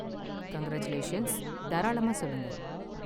Congratulations, தாராளமா சொல்லுங்க.